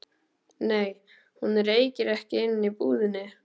Nei, hún reykir ekki inni í búðinni.